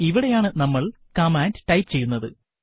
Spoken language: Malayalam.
ഇവിടെയാണ് നമ്മൾ കമാൻഡ് ടൈപ്പുചെയ്യേണ്ടുന്നത്